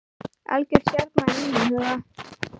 Algjör stjarna í mínum huga.